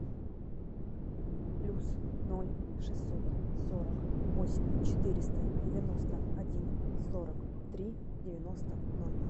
плюс ноль шестьсот сорок восемь четыреста девяносто один сорок три девяносто ноль